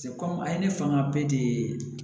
komi a ye ne fanga bɛɛ de ye